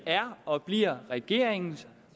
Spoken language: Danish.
er og bliver regeringens